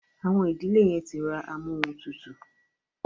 Àwọn ìdílé yen tí rá Amóhuntutù.